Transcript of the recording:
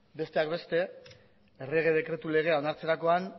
besteak beste errege dekretu legea onartzerakoan